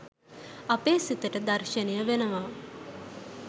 අපේ සිතට දර්ශනය වෙනවා.